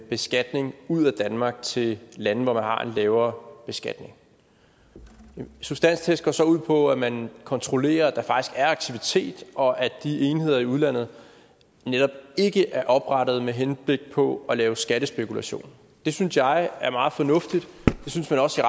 beskatningen ud af danmark til lande hvor man har en lavere beskatning substanstesten går så ud på at man kontrollerer at der faktisk er aktivitet og at de enheder i udlandet netop ikke er oprettet med henblik på at lave skattespekulation det synes jeg er meget fornuftigt det synes man også